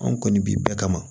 Anw kɔni bi bɛɛ kama